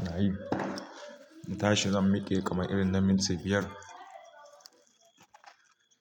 Ina yi, na tashi zan mike kamar irin na minti biyar.